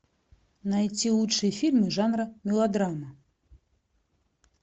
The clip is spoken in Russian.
найти лучшие фильмы жанра мелодрама